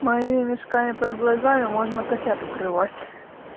мои мешками под глазами можно котят укрывать